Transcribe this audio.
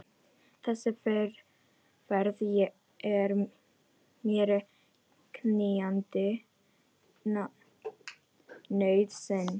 Þessi ferð er mér knýjandi nauðsyn.